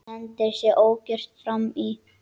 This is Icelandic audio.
Hendir sér ógyrtur fram í.